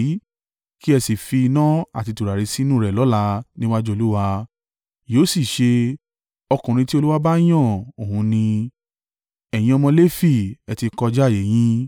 Kí ẹ sì fi iná àti tùràrí sínú rẹ̀ lọ́la níwájú Olúwa, yóò sì ṣe, ọkùnrin tí Olúwa bá yàn òun ni. Ẹ̀yin ọmọ Lefi, ẹ ti kọjá ààyè yín!”